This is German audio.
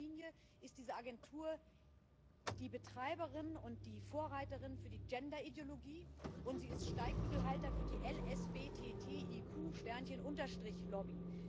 In erster Linie ist diese Agentur die Betreiberin und die Vorreiterin für die Gender— Ideologie und sie ist Steigbügelhalter für die LSBTTIQ Lobby.